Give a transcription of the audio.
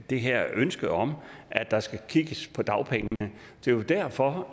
det her ønske om at der skal kigges på dagpengene og det er derfor